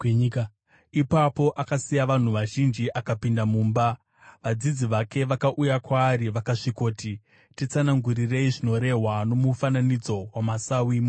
Ipapo akasiya vanhu vazhinji akapinda mumba. Vadzidzi vake vakauya kwaari vakasvikoti, “Titsanangurirei zvinorehwa nomufananidzo wamasawi mumunda.”